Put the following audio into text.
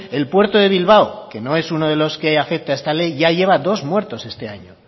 el puerto de bilbao que no es uno de los que afecta esta ley ya lleva dos muertos este año